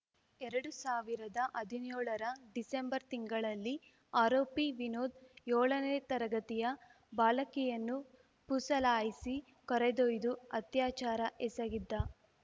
ಎರಡು ಸಾವಿರದ ಹದಿನ್ಯೋಳರ ಡಿಸೆಂಬರ್‌ ತಿಂಗಳಲ್ಲಿ ಆರೋಪಿ ವಿನೋದ್‌ ಯೋಳನೇ ತರಗತಿ ಬಾಲಕಿಯನ್ನು ಪುಸಲಾಯಿಸಿ ಕರೆದೊಯ್ದು ಅತ್ಯಾಚಾರ ಎಸಗಿದ್ದ